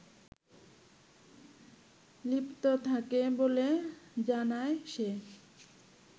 লিপ্ত থাকে বলে জানায় সে